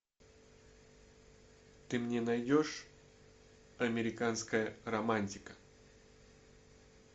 ты мне найдешь американская романтика